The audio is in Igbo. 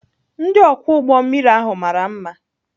Ndị ọkwọ ụgbọ mmiri ahụ mara mma.